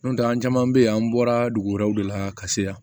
N'o tɛ an caman bɛ yen an bɔra dugu wɛrɛw de la ka se yan